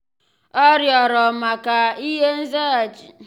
ọ́ rịọ̀rọ̀ maka nzaghachi mgbe ọ́ gọ́sị́rị́ ihe ngosi iji kàchàsị́ mma n’ínyéfe ya na idoanya.